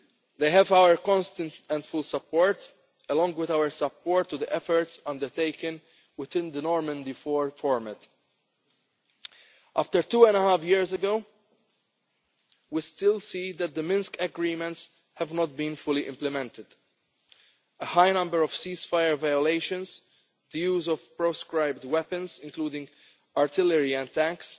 crisis. They have our constant and full support, along with our support to the efforts undertaken within the Normandy four format. After two and a half years we still see that the Minsk Agreements have not been fully implemented. A high number of ceasefire violations, views of proscribed weapons including artillery